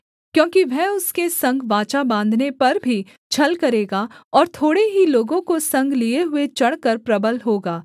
क्योंकि वह उसके संग वाचा बाँधने पर भी छल करेगा और थोड़े ही लोगों को संग लिए हुए चढ़कर प्रबल होगा